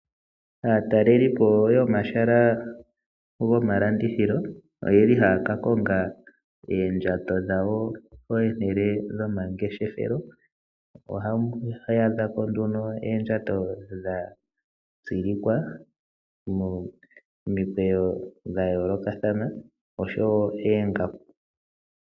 Aatalelipo yomahala goma landithilo oyeli haya ka konga oondjato dhawo pomahala gomangeshefelo ohaya adha po oondjato dha tsilikwa momikweyo dha yoolokathana noongaku.